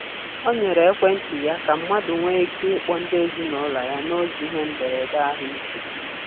O nyere ekwentị ya ka mmadụ nwee ike ịkpọ ndị ezinụụlọ ya n'oge ihe mberede ahụike.